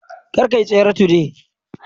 Kar kayi tsere today